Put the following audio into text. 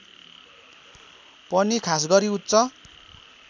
पनि खासगरी उच्च